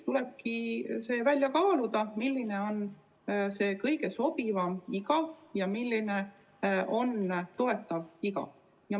Tulebki kaaluda, milline on kõige sobivam iga ja milline on toetatav iga.